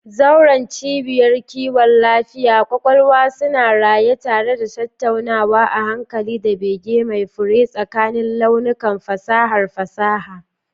Zauren cibiyar kiwon lafiyar kwakwalwa suna raye tare da tattaunawa a hankali da bege mai fure tsakanin launukan fasahar fasaha.